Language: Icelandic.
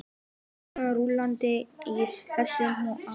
Hugsanirnar rúllandi í hausnum á honum.